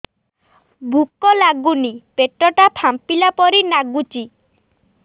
ଭୁକ ଲାଗୁନି ପେଟ ଟା ଫାମ୍ପିଲା ପରି ନାଗୁଚି